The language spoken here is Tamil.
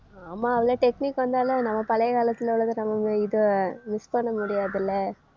ஆமா அவ்ளோ technique வந்தாலும் நம்ம பழைய காலத்துல உள்ளத நம்ம இதை miss பண்ண முடியாதுல்ல